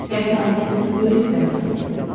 Qətl hadisəsi böyük bədbəxtlikdir.